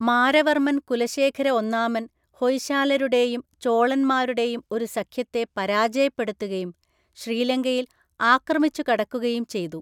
മാരവർമ്മൻ കുലശേഖര ഒന്നാമൻ ഹൊയ്ശാലരുടെയും ചോളന്മാരുടെയും ഒരു സഖ്യത്തെ പരാജയപ്പെടുത്തുകയും ശ്രീലങ്കയില്‍ ആക്രമിച്ചുകടക്കുകയും ചെയ്തു.